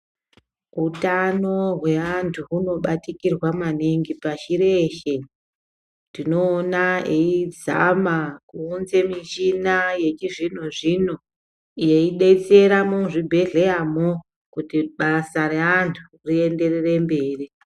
Utano hweantu hunobatikirwa maningi pashi reshe. Tinoona eizama kuunza michina yechizvino zvino yeidetetsera muzvibhedhleya mwo kuti basa reantu rienderere mberi.